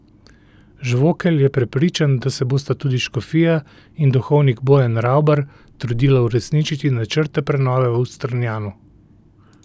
Žvokelj je prepričan, da se bosta tudi škofija in duhovnik Bojan Ravbar trudila uresničiti načrte prenove v Strunjanu.